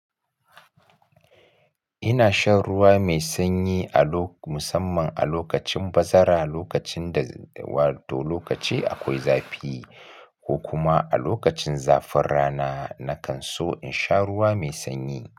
Ina shan ruwa mai sanyi a lo-- musamman a lokacin bazara, lokacin da, wa to lokaci akwai zafi ko kuma a lokacin zafin rana, na kan so in sha ruwa mai sanyi.